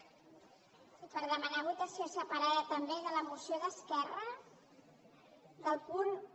sí per demanar votació separada també de la moció d’esquerra del punt un